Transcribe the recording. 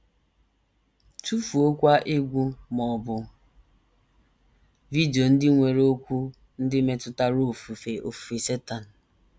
Tụfuokwa egwú ma ọ bụ vidio ndị nwere okwu ndị metụtara ofufe ofufe Setan.